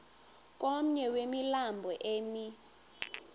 komnye wemilambo emi